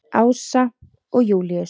Ása og Júlíus.